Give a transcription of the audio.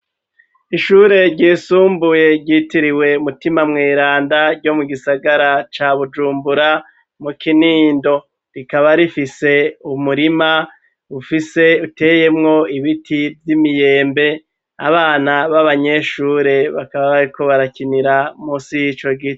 Ishure ryisumbuye ryitiriwe umutima mweranda ryo mu gisagara ca bujumbura mu kinindo rikaba rifise umurima ufise uteyemwo ibiti vy'imiyembe abana b'abanyeshure bakaba ariko barakinira musi y'ico gihe.